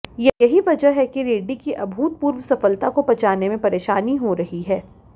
यही वजह है कि रेड्डी की अभूतपूर्व सफलता को पचाने में परेशानी हो रही है